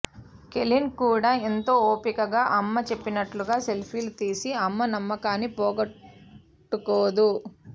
కెలిన్ కూడా ఎంతో ఓపికగా అమ్మ చెప్పినట్టుగా సెల్ఫీలు తీసి అమ్మ నమ్మకాన్ని పోగొట్టుకోదు